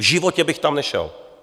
V životě bych tam nešel!